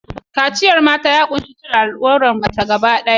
Kaciyar mata, ya ƙunshi cire al'aurar mace gaba ɗaya ta waje.